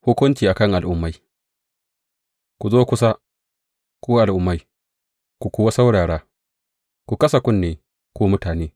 Hukunci a kan al’ummai Ku zo kusa, ku al’ummai, ku kuwa saurara ku kasa kunne, ku mutane!